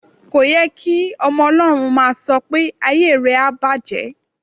Kò ye kí ọmọ Ọlọ́run máà sọ pé "ayé rẹ á bàjẹ́".